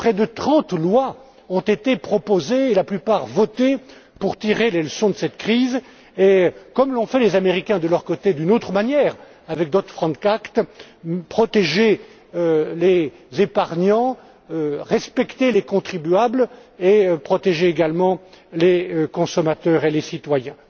Près de trente lois ont été proposées et la plupart votées pour tirer les leçons de cette crise et, comme l'ont fait les Américains de leur côté, d'une autre manière, avec le Dodd Franck Act protéger les épargnants, respecter les contribuables et protéger également les consommateurs et les citoyens.